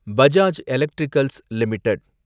Bajaj electricals limited